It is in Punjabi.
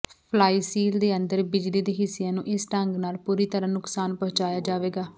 ਫਲਾਈਸੀਲ ਦੇ ਅੰਦਰ ਬਿਜਲੀ ਦੇ ਹਿੱਸਿਆਂ ਨੂੰ ਇਸ ਢੰਗ ਨਾਲ ਪੂਰੀ ਤਰ੍ਹਾਂ ਨੁਕਸਾਨ ਪਹੁੰਚਾਇਆ ਜਾਵੇਗਾ